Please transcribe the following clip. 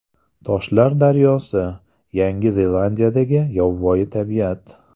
Toshlar daryosi: Yangi Zelandiyadagi yovvoyi tabiat .